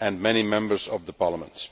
and many Members of Parliament.